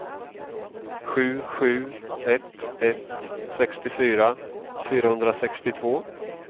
sju sju ett ett sextiofyra fyrahundrasextiotvå